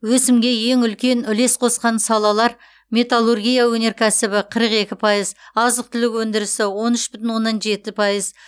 өсімге ең үлкен үлес қосқан салалар металлургия өнеркәсібі қырық екі пайыз азық түлік өндірісі он үш бүтін оннан жеті пайыз